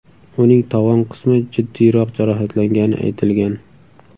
Uning tovon qismi jiddiyroq jarohatlangani aytilgan.